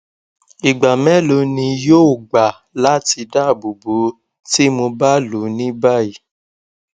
igba melo ni yoo gba lati daabobo ti mo ba lo ni bayi